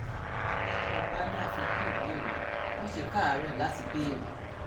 tó o bá ní àfikún ìbéèrè má ṣe káàárẹ̀ láti béèrè